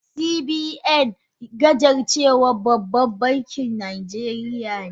CBN gajarcewan baban bankin najeriya ne.